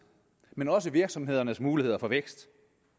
men også virksomhedernes muligheder for vækst